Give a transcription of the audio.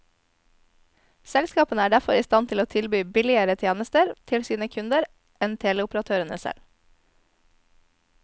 Selskapene er derfor i stand til å tilby billigere teletjenester til sine kunder enn teleoperatørene selv.